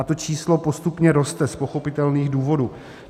A to číslo postupně roste, z pochopitelných důvodů.